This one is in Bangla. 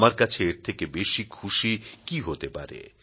আমার কাছে এর থেকে বেশি খুশি কী হতে পারে